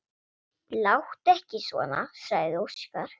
Láttu ekki svona, sagði Óskar.